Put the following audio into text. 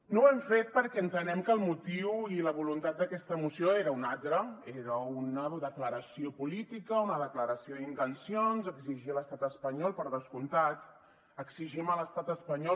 no ho hem fet perquè entenem que el motiu i la voluntat d’aquesta moció eren uns altres era una declaració política una declaració d’intencions exigir a l’estat espanyol per descomptat exigim a l’estat espanyol